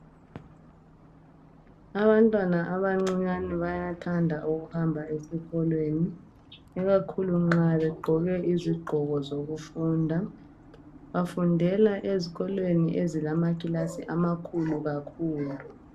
Abantwana abancinyani bayathanda ukuhamba esikolweni. Ikakhulu nxa begqoke izigqoko zokufunda. Bafundela ezikolweni ezilamakilasi amakhulu kakhulu.